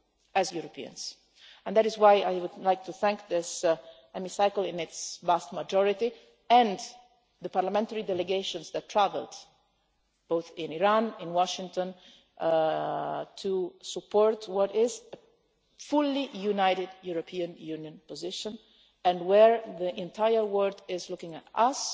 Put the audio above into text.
smart to do as Europeans, and that is why I would like to thank this Hemicycle in its vast majority and the parliamentary delegations that travelled both to Iran and to Washington to support what is a fully united European Union position, when the entire world is looking